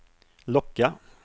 locka